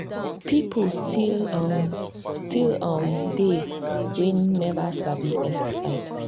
people still um still um they we never sabi sti testing